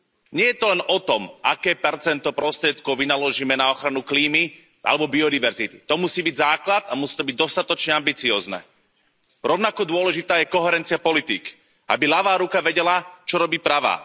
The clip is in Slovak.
Nie je to len o tom, aké percento prostriedkov vynaložíme na ochranu klímy alebo biodiverzity. To musí byť základ a musí to byť dostatočne ambiciózne. Rovnako dôležitá je koherencia politík, aby ľavá ruka vedela, čo robí pravá.